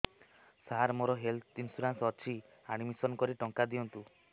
ସାର ମୋର health insurance ଅଛି admission କରି ଟଙ୍କା ଦିଅନ୍ତୁ